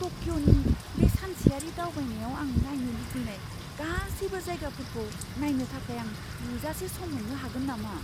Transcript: टकिअ'नि बे सानसेयारि दावबायनायाव आं नायनो लुगैनाय गासैबो जायगाफोरखौ नायनो थाखाय आं थोजासे सम मोन्नो हागोन नामा?